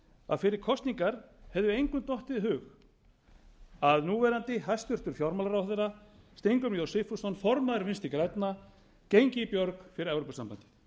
að fyrir kosningar hefði engum dottið í hug að núverandi hæstvirtum fjármálaráðherra steingrímur j sigfússon formaður vinstri grænna gengi í björg fyrir evrópusambandið